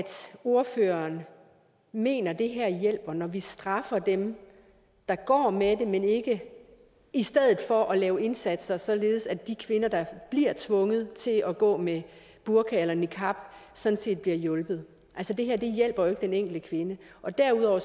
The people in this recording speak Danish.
ordføreren mener at det her hjælper når vi straffer dem der går med det i stedet for at lave indsatser således at de kvinder der bliver tvunget til at gå med burka eller niqab sådan set bliver hjulpet altså det her hjælper jo ikke den enkelte kvinde og derudover